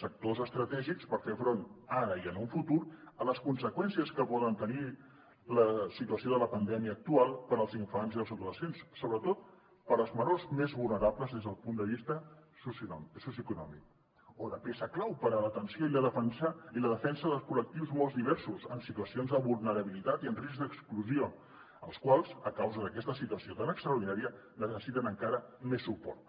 sectors estratègics per fer front ara i en un futur a les conseqüències que pot tenir la situació de la pandèmia actual per als infants i els adolescents sobretot per als menors més vulnerables des del punt de vista socioeconòmic o de peça clau per a l’atenció i la defensa de col·lectius molt diversos en situacions de vulnerabilitat i en risc d’exclusió els quals a causa d’aquesta situació tan extraordinària necessiten encara més suport